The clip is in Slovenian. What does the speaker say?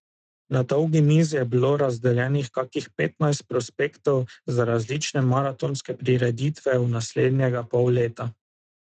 Na dolgi mizi je bilo razdeljenih kakih petnajst prospektov za različne maratonske prireditve v naslednjega pol leta.